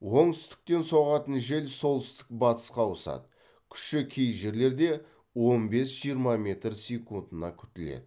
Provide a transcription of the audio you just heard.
оңтүстіктен соғатын жел солтүстік батысқа ауысады күші кей жерлерде он бес жиырма метр секундына күтіледі